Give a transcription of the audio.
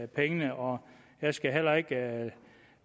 penge og jeg skal heller ikke